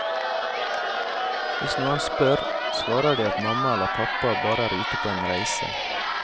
Hvis noen spør, svarer de at mamma eller pappa bare er ute på en reise.